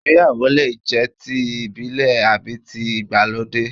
Ìgbéyàwó lè jẹ́ ti ìbílẹ̀ àbí tí ìgbàlódé